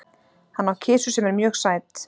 Hann á kisu sem er mjög sæt.